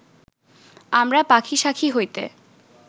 আমরা পাখী শাখী হইতে